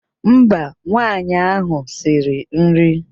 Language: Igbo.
Mba, ụmụnwaanyị ahụ siri nri.